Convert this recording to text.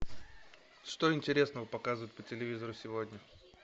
что интересного показывают по телевизору сегодня